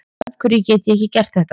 afhverju get ég ekki gert þetta